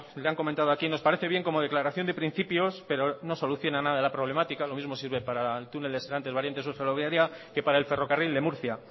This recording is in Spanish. le han comentado aquí nos parece bien como declaración de principios pero no soluciona nada de la problemática lo mismo sirve para el túnel de serantes variante sur ferroviaria que para el ferrocarril de murcia